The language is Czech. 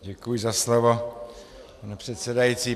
Děkuji za slovo, pane předsedající.